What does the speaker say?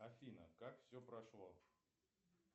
афина как все прошло